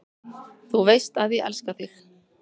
Þú veist að ég elska þig.